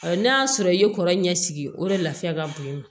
n'a y'a sɔrɔ i ye kɔrɔ ɲɛ sigi o de la ka bon